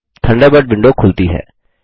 Thunderbird window खुलती है